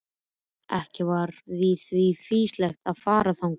Ekki var því fýsilegt að fara þangað.